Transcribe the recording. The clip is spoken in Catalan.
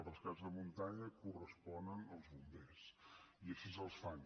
els rescats de muntanya corresponen als bombers i així els fan